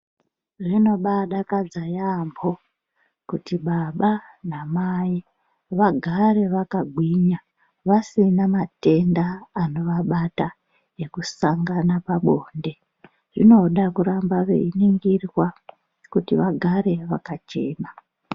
Zvinobadakadza yaamho kuti baba namai vagare vakagwinya, vasina matenda anovabata ngekusangana pabonde, zvinoda kuramba veiningirwa kuti vagare vakachena.